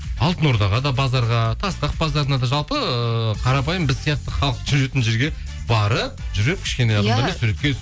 алтын ордаға да базарға тастақ базарына да жалпы ыыы қарапайым біз сияқты халық жүретін жерге барып жүріп кішкене суретке